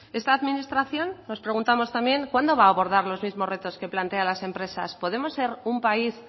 esta administración nos preguntamos también cuándo va a abordar los mismos retos que plantean las empresas podemos ser un país